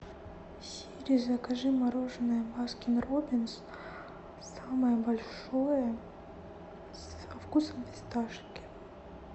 сири закажи мороженое баскин робинс самое большое со вкусом фисташки